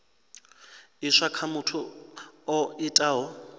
iswa kha muthu o itaho